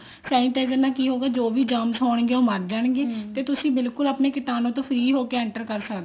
sanitizer ਨਾਲ ਕੀ ਹੋਊਗਾ ਜੋ ਵੀ germs ਹੋਣਗੇ ਉਹ ਮਰ ਜਾਣਗੇ ਤੇ ਤੁਸੀਂ ਆਪਣੇ ਕੀਟਾਨੂੰ ਤੋਂ ਬਿਲਕੁਲ free ਹੋ ਕੇ enter ਕਰ ਸਕਦੇ ਹੋ